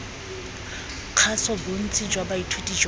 kgaso bontsi jwa baithuti jwa